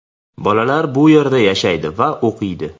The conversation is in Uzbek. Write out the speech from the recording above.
Bolalar bu yerda yashaydi va o‘qiydi.